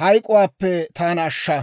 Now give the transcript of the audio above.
hayk'k'uwaappe taana ashsha.